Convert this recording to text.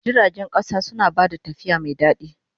Jiragen ƙasa suna ba da tafiya mai daɗi.